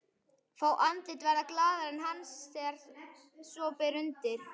Fá andlit verða glaðari en hans þegar svo ber undir.